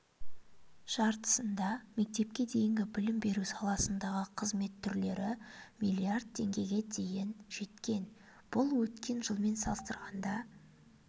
жартысында мектепке дейінгі білім беру саласындағы қызмет түрлері миллиард теңгеге жеткен бұл өткен жылмен салыстырғанда